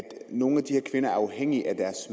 nogle af de her kvinder er afhængige af deres